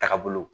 Taga bolo